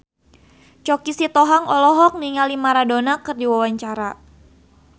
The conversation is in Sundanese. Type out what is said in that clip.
Choky Sitohang olohok ningali Maradona keur diwawancara